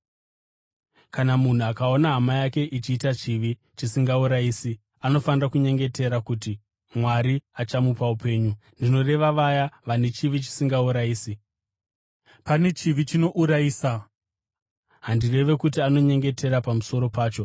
Kana munhu akaona hama yake ichiita chivi chisingaurayisi, anofanira kunyengetera uye Mwari achamupa upenyu. Ndinoreva vaya vane chivi chisingaurayisi. Pane chivi chinourayisa. Handirevi kuti anyengetere pamusoro pacho.